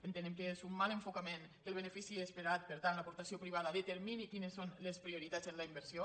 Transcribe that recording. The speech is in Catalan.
entenem que és un mal enfocament que el be·nefici esperat per tant l’aportació privada determi·ni quines són les prioritats en la inversió